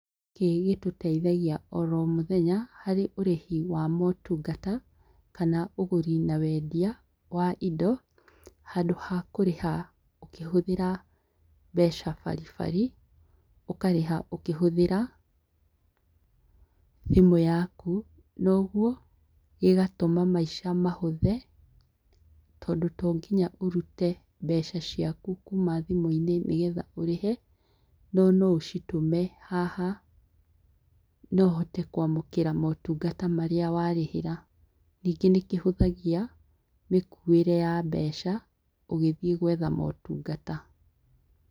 Gĩkĩ gĩtũteithagia oro mũthenya, hari ũrĩhi wa maũtungata, kana ũgũri na wendia wa indo, handũ ha kũrĩha ũkĩhũthĩra mbeca baribari .ũkarĩha ũkihũthira thimũ yaku. Na ũguo, gĩgatũma maica mahũthe, tondũ to nginya ũrute mbeca ciaku kuuma thimũ-inĩ nĩgetha ũrihe. No no ũcitũme haha, na ũhote kũamũkĩra maũtungata marĩa warĩhĩra. Ningĩ nĩkĩhũthagia, mĩkuĩre ya mbeca, ũgĩthiĩ gũetha maũtungata.